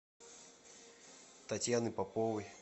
татьяной поповой